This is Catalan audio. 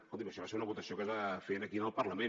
escolti’m això va ser una votació que es va fer aquí en el parlament